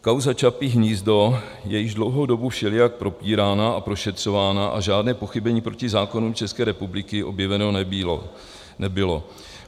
Kauza Čapí hnízdo je již dlouhou dobu všelijak propírána a prošetřována a žádné pochybení proti zákonům České republiky objeveno nebylo.